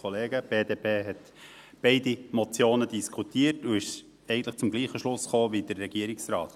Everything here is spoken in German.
Die BDP hat beide Motionen diskutiert und ist zum selben Schluss gekommen wie der Regierungsrat.